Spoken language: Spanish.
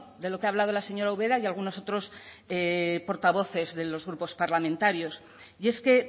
de lo que ha hablado la señora ubera y algunos otros portavoces de los grupos parlamentarios y es que